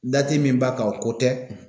Dati min b'a kan o ko tɛ